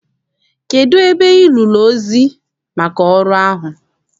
Kedụ ebe Ị nụrụ ozi maka ọrụ ahụ?